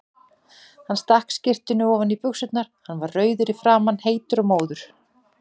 Hann stakk skyrtunni ofan í buxurnar, hann var rauður í framan, heitur og móður.